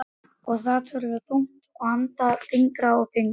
Og það verður þungt að anda, þyngra og þyngra.